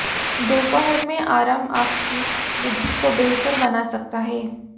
दोपहर में आराम आपकी बुद्धि को बेहतर बना सकता है